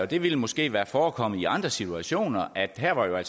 det ville måske være forekommet i andre situationer at her var